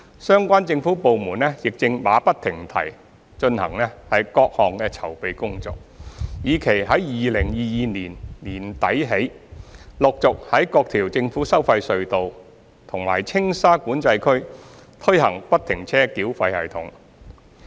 相關政府部門亦正馬不停蹄進行各項籌備工作，以期在2022年年底起，陸續在各條政府收費隧道和青沙管制區推行不停車繳費系統。